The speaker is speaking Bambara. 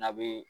N'a bee